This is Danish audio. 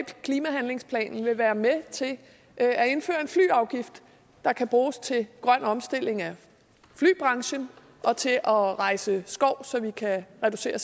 klimahandlingsplanen vil være med til at indføre en flyafgift der kan bruges til grøn omstilling af flybranchen og til at rejse skov så vi kan reducere